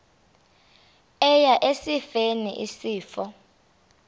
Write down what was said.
eya esifeni isifo